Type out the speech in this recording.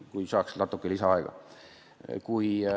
Kas saaks natuke lisaaega?